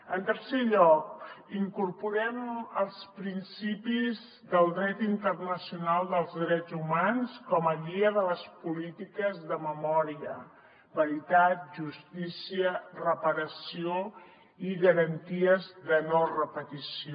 en tercer lloc incorporem els principis del dret internacional dels drets humans com a guia de les polítiques de memòria veritat justícia reparació i garanties de no repetició